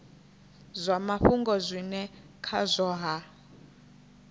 zwa mafhungo zwine khazwo ha